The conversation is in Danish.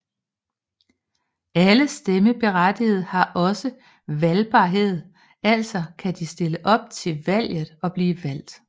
Alle stemmeberettigede har også valgbarhedaltså kan de stille op til valget og blive valgt